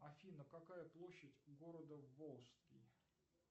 афина какая площадь у города волжский